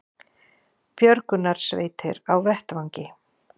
Björgunarsveitir á vettvangi